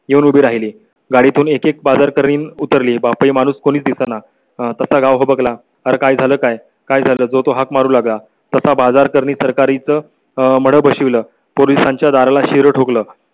येऊन उभी राहिली. गाडी तून एकेक बाजार करीन उतरली बाप माणूस कोणी दिसेना आह तसा गाव भाग ला काय झालं? काय काय करतो तो हाक मारू लागला तसा बाजार करणे सरकारीचं मळभशील पोलिसांच्या दाराला शिरोळ ठोकलं